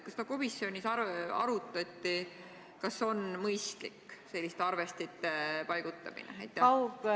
Kas ka komisjonis arutati, kas on mõistlik selliste arvestite paigaldamine?